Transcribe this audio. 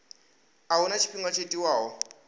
a huna tshifhinga tsho tiwaho